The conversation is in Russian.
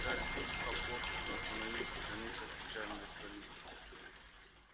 гарри тоже стал хлопать но остановился заметив опечаленное лицо ника